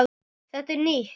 Þetta er nýtt!